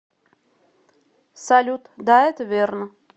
салют да это верно